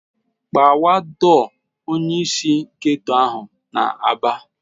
"Gbawa dọọ!" Onyeisi ndị geto ahụ na-aba.